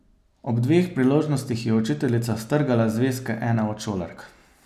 Ob dveh priložnostih je učiteljica strgala zvezke ene od šolark.